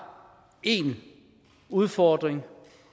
én udfordring